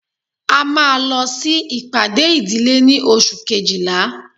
a máa lọ sí ìpàdé ìdílé ní oṣù kejìlá